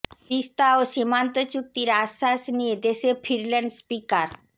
তিস্তা ও সীমান্ত চুক্তির আশ্বাস নিয়ে দেশে ফিরলেন স্পিকার